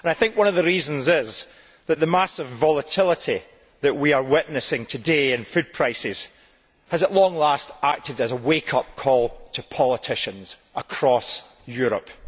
One of the reasons is that the massive volatility that we are witnessing today in food prices has at long last acted as a wake up call to politicians across Europe.